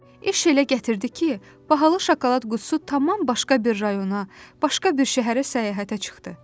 İş elə gətirdi ki, bahalı şokolad qutusu tamam başqa bir rayona, başqa bir şəhərə səyahətə çıxdı.